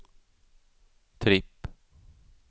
tripp